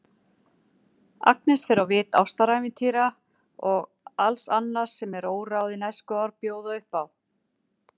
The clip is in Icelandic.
Agnes fer á vit ástarævintýra og alls annars sem óráðin æskuár bjóða upp á.